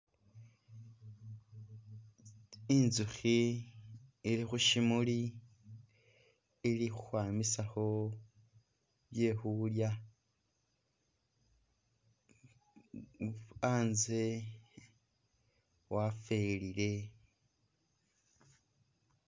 Inzuhi ili khu shimuli ili khukhwamisakho byekhulya anze wafelile